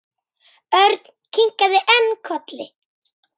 Örn kinkaði enn kolli.